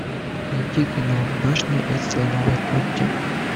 найти кино башня из слоновой кости